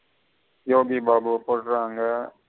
யோகிபாபுவ கொலுரங்க.